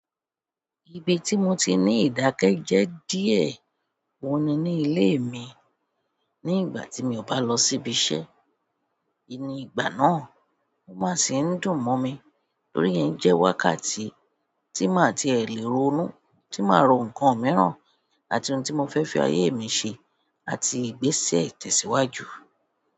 Ibi tí mo ti ní ìdákẹ́jẹ́ díẹ̀ oun ní ní ilé mi ní ìgbà tí mi ò bá lọ sí ibi iṣẹ́. Ní ìgbà náà, ó má sì ndun mo mi, torí ìyẹn jẹ́ wákàtí tí máa tiẹ̀ lè ronú, tí máa rò ǹkan míràn, àti oun tí mo fẹ́ fi ayé mi ṣe, àti ìgbésí ìtẹ̀síwájú.